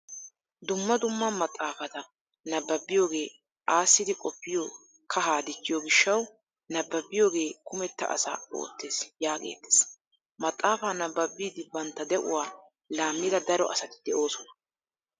Dumma dumma maxaafata nabbabiyogee aassidi qoppiyo kahaa dichchiyo gishshawu "nabbabiyogee kumetta asa oottees" yaagettees. Maxaafaa nabbabidi bantta de'uwaa laammida daro asati de"oosona.